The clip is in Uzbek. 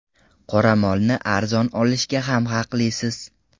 Qoramolni arzon olishga ham haqlisiz.